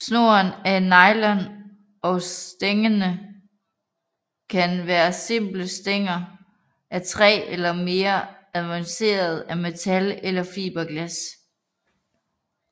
Snoren er af nylon og stængerne kan være simple stænger af træ eller mere avancerede af metal eller fiberglas